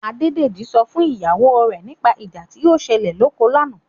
Adédèjì sọ fún ìyàwó rẹ̀ nípa ìjà tí ó ṣẹlẹ̀ lóko lánàá.